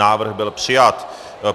Návrh byl přijat.